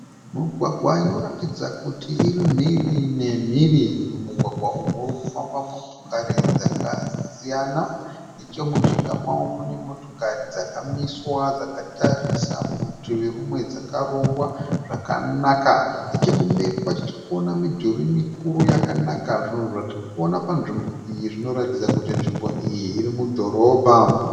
Migwagwa inoratidza kuti iri mhiri nemhiri, mumugwagwa umu murikufamba motokari dzakasiyana, nechemujinga mawo mune motokari dzakamiswa dzakatarisa mutivi rumwe dzakarongwa zvakanaka, nechekumberi kwacho tirikuona midhuri mikuru yakanaka. Zvinhu zvatiri kuona panzvimbo iyi zvinoratidza kuti nzvimbo iyi iri mudhorobha.